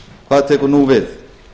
hvað tekur nú við